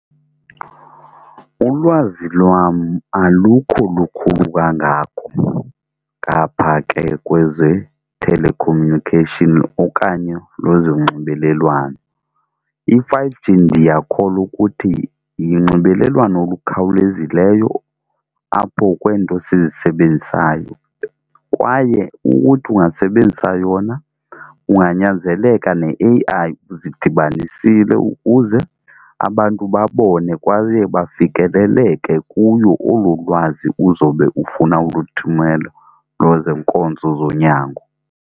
Uwazi lwam alukho lukhulu kangako ngapha ke kweze-telecommunication okanye lwezonxibelelwano. I-five G ndiyakholwa ukuthi yinxibelelwano olukhawulezileyo apho kweento sizisebenzisayo, kwaye ukuthi ungasebenzisa yona unganyanzeleka ne-A_I uzidibanisile ukuze abantu babone kwaye bafikeleleke kuyo olo lwazi uzobe ufuna uluthumela lwezenkonzo zonyango.